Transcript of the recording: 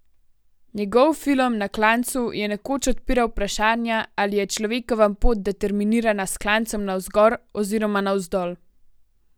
Njegov film na Klancu je nekoč odpiral vprašanja, ali je človekova pot determinirana s klancem navzgor oziroma navzdol.